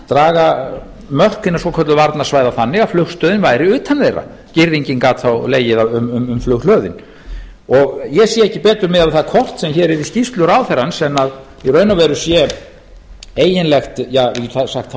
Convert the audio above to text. draga mörk hinna svokölluðu varnarsvæða þannig að flugstöðin væri utan þeirra girðingin gat þá legið um flughlöðin ég sé ekki betur miðað við það kort sem hér er í skýrslu ráðherrans en í raun og veru se eiginlegt